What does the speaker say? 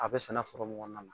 A bɛ sɛnɛ foro mun kɔnɔna na.